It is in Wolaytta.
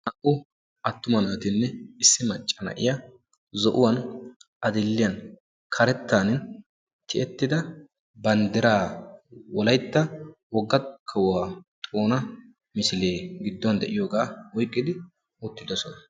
Naa'u attuma naatine issi macca naa'iya zoo'uwan adill'iyan, karettan tiyettida banddiraa wolayttan wogga kaawuwa xoona misile gidduwan de'iyoga oyqqidi uttidosona.